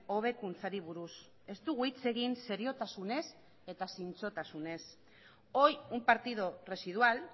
hobekuntzari buruz ez dugu hitz egin seriotasunez eta zintzotasunez hoy un partido residual